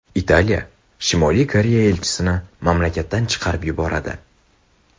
Italiya Shimoliy Koreya elchisini mamlakatdan chiqarib yuboradi.